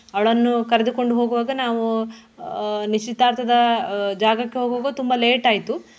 ಅವಳನ್ನು ಕರೆದುಕೊಂಡು ಹೋಗುವಾಗ ನಾವು ಆಹ್ ನಿಶ್ಚಿತಾರ್ಥದ ಅಹ್ ಜಾಗಾಕ್ಕೆ ಹೋಗುವಾಗ ತುಂಬ late ಆಯ್ತು.